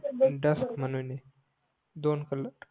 दोन कलर